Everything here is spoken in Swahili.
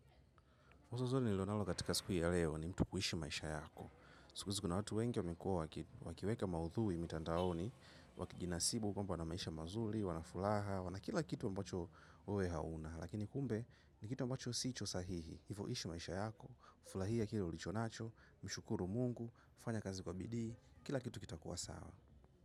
Mzozo nilionao katika siku ya leo ni mtu kuishi maisha yako. Siku hizi kuna watu wengi wamekuwa wakiweka maudhui mitandaoni, wakijinasibu kwamba wana maisha mazuri, wana furaha, wana kila kitu ambacho wewe hauna. Lakini kumbe ni kitu mbacho si cha sahihi, hivo ishi maisha yako, ufurahie kile ulichonacho, mshukuru mungu, ufanye kazi kwa bidii, kila kitu kitakuwa sawa.